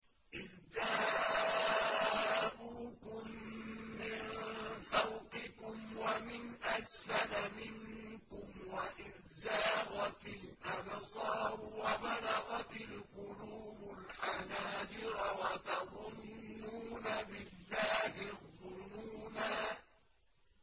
إِذْ جَاءُوكُم مِّن فَوْقِكُمْ وَمِنْ أَسْفَلَ مِنكُمْ وَإِذْ زَاغَتِ الْأَبْصَارُ وَبَلَغَتِ الْقُلُوبُ الْحَنَاجِرَ وَتَظُنُّونَ بِاللَّهِ الظُّنُونَا